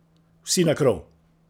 Vsi na krov!